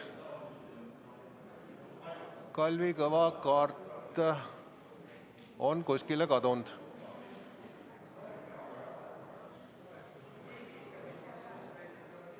Kalvi Kõva kaart on kuskile kadunud.